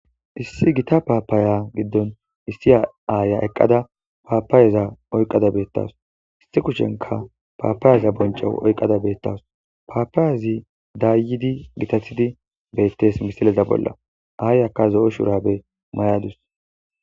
Issi gita paapaaya giddon issi a aaya eqqada paapayeza oyqada beettas issi kushenka paapaayeza bonca oyqqada beettas paapaayazi daayidi gitatidi beettes misileza bolla aayaka zo7o shurabe may7adus.